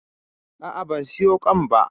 A'a, ban siyo ƙwan ba.